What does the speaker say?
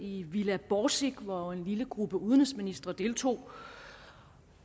i villa borsig hvor en lille gruppe udenrigsministre deltog